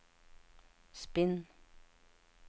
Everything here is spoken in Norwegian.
spinn